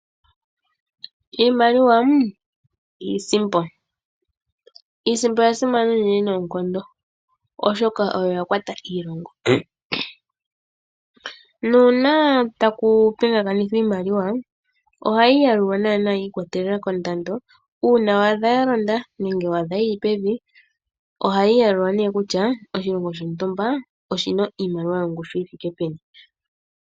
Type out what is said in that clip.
Iimaliwa (iisipo), iisipo oya simana unene noonkondo oshoka oyo ya kwata iilongo. Nuuna taku pigakanitha iimaliwa ohayi yalulwa nana yiikwatelela kondando una wa dha ya londa nege wa dha yi li pevi, ohayi yalulwa nenge kutya oshilongo shotumba oshina iimaliwa yongushu yi thike peni.